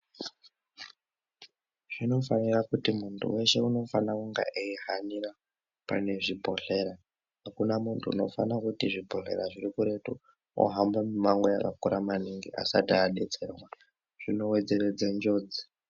Zvínofanire kuti muntu weshe unofanira kunge eihanira pane zvibhodhlera akuna muntu unofana kuti zvibhodhlera zviri kuretu wohambe mumango wakakura maningi asati adetserwa zvinowedzeredze njodzi.